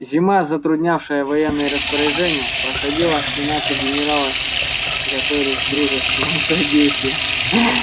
зима затруднявшая военные распоряжения проходила и наши генералы готовились к дружескому содействию